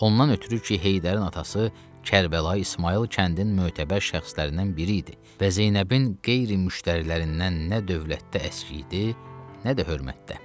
Ondan ötrü ki, Heydərin atası Kərbəlayı İsmayıl kəndin mötəbər şəxslərindən biri idi və Zeynəbin qeyri müştərilərindən nə dövlətdə əski idi, nə də hörmətdə.